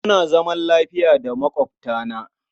Muna zaman lafiya da maƙwabtana.